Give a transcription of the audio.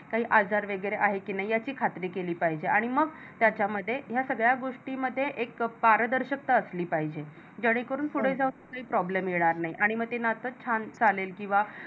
काही आजार वगैरे आहे कि नाही याची खात्री केली पाहिजे आणि मग त्याच्या मध्ये या सगळ्या मध्ये एक पारदर्शकता असली पाहिजे जेणे करून पुढे जाऊन काही Problem येणार नाही आणि मग ते नात छान चालेल किंवा